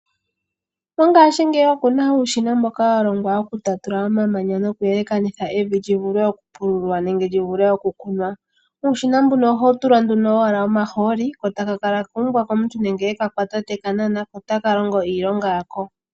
Ongashingeyi oku na uushina mboka wa longwa okutatula omamanya no ku yelekanitha evi lyivule oku pululwa nenge lyi vulwe okukunwa. Uushina mbuka oha wu tulwa owala nduno omahooli ko taka kala kuumbwa komuntu nenge e ka kwata te kanana, ko ta ka longo iilonga yako.